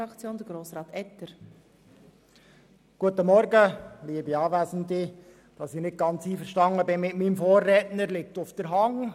Dass ich mit meinem Vorredner nicht ganz einverstanden bin, liegt auf der Hand.